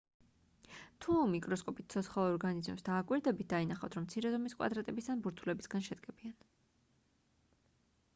თუ მიკროსკოპით ცოცხალ ორგანიზმებს დააკვირდებით დაინახავთ რომ მცირე ზომის კვადრატების ან ბურთულებისგან შედგებიან